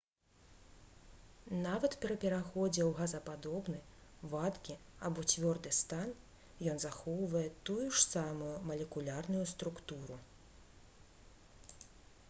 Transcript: нават пры пераходзе ў газападобны вадкі або цвёрды стан ён захоўвае тую ж самую малекулярную структуру